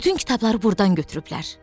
Bütün kitabları burdan götürüblər.